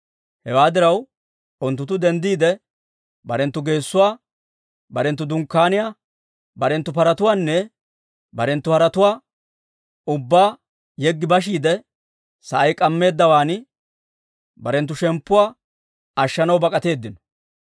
Hewaa diraw, unttunttu denddiide, barenttu geessuwaa, barenttu dunkkaaniyaa, barenttu paratuwaanne barenttu haretuwaanne ubbaa yeggi bashiide, sa'ay k'ammeeddawaan barenttu shemppuwaa ashshanaw bak'atteedino.